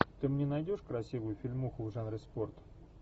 ты мне найдешь красивую фильмуху в жанре спорт